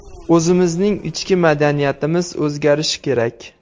O‘zimizning ichki madaniyatimiz o‘zgarishi kerak.